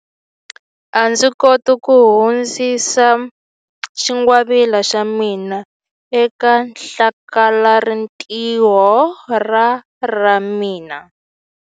A ndzi koti ku hundzisa xingwavila xa mina eka hlakalarintiho ra ra mina.